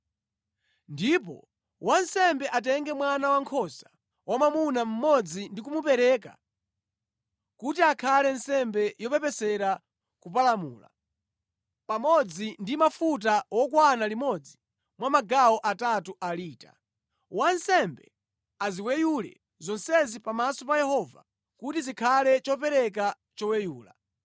“Ndipo wansembe atenge mwana wankhosa wamwamuna mmodzi ndi kumupereka kuti akhale nsembe yopepesera kupalamula, pamodzi ndi mafuta wokwana limodzi mwa magawo atatu a lita. Wansembe aziweyule zonsezi pamaso pa Yehova kuti zikhale chopereka choweyula.